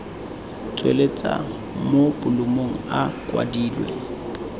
tsweletswa mo bolumong a kwadilwe